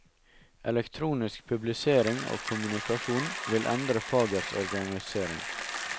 Elektronisk publisering og kommunikasjon vil endre fagets organisering.